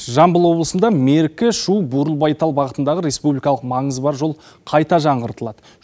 жамбыл облысында меркі шу бұрылбайтал бағытындағы республикалық маңызы бар жол қайта жаңғыртылады